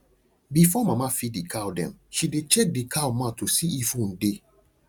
before mama feed the cow dem she dey check the cow mouth to see if wound dey